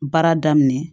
Baara daminɛ